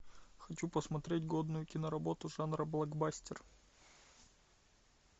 хочу посмотреть годную киноработу жанра блокбастер